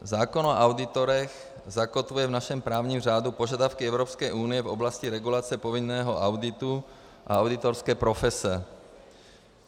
Zákon o auditorech zakotvuje v našem právním řádu požadavky Evropské unie v oblasti regulace povinného auditu a auditorské profese.